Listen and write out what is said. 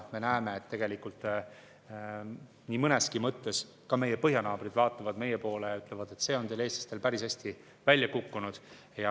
Me näeme, et nii mõneski mõttes vaatavad ka meie põhjanaabrid meie poole ja ütlevad, et see on teil, eestlastel, päris hästi välja kukkunud.